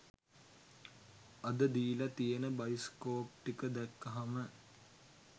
අද දීලා තියෙන බයිස්කෝප් ටික දැක්කහම